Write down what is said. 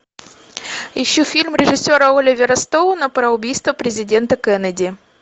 ищу фильм режиссера оливера стоуна про убийство президента кеннеди